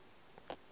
ga se be ba le